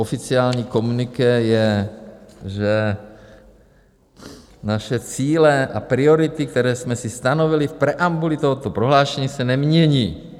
Oficiální komuniké je, že "naše cíle a priority, které jsme si stanovili v preambuli tohoto prohlášení, se nemění".